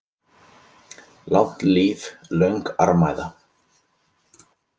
Langt líf, löng armæða.